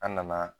An nana